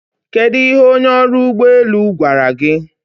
Kedu ihe onye ọrụ ụgbọ elu gwara gị?